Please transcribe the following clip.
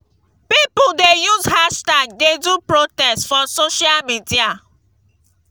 all di workers don occupy government house government house dem sey dem dey do protest.